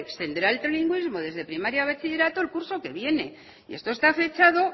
tendrá en trilingüismo desde primaria a bachillerato el curso que viene y esto está fechado